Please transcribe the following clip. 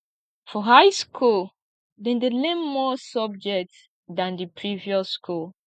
for high school dem de learn more subject than the previous school